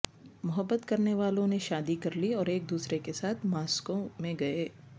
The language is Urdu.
محبت کرنے والوں نے شادی کر لی اور ایک دوسرے کے ساتھ ماسکو میں گئے